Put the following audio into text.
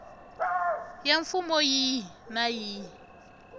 ya mfumo yihi na yihi